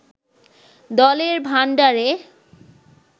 দলের ভাণ্ডারে